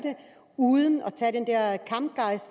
uden